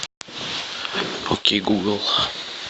окей гугл